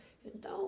Então,